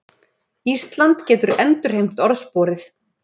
Ísland getur endurheimt orðsporið